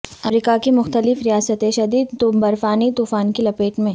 امریکہ کی مختلف ریاستیں شدید برفانی طوفان کی لپیٹ میں